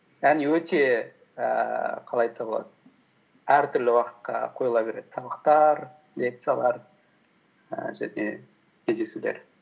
яғни өте ііі қалай айтса болады әртүрлі уақытқа қойыла береді сабақтар лекциялар ііі және кездесулер